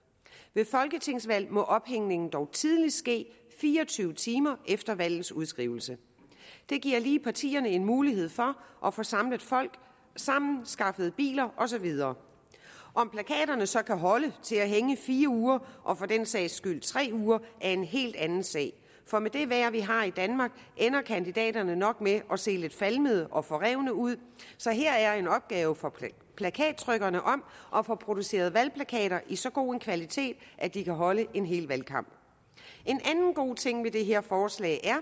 ved folketingsvalg må ophængningen dog tidligst ske fire og tyve timer efter valgets udskrivelse det giver lige partierne en mulighed for at få samlet folk sammen at skaffet biler og så videre om plakaterne så kan holde til at hænge i fire uger og for den sags skyld tre uger er en helt anden sag for med det vejr vi har i danmark ender kandidaterne nok med at se lidt falmede og forrevne ud så her er en opgave for plakattrykkerne om at få produceret valgplakater i så god en kvalitet at de kan holde en hel valgkamp en anden god ting ved det her forslag